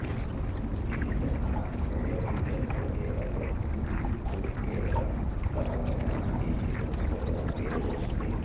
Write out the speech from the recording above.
ఇది దున్నడానికి ఉపయోగించే మగ గేదె పోతుగేదె కావడం వలన దీనికి దున్నపోతు అని పేరు వచ్చింది